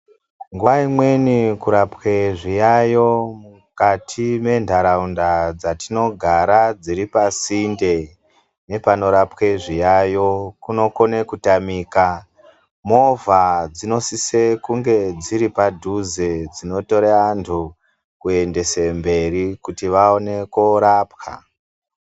Nguwa imweni kurapwe zviyayo mukati mendharaunda dzatinogara dziri pasinde nepanorapwe zviyayo kunokona kutamika . Movha dzinosise kunge dziri padhuze dzinotora antu kuendesa mberi kuti vaone korapwa.